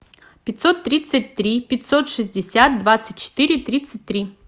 пятьсот тридцать три пятьсот шестьдесят двадцать четыре тридцать три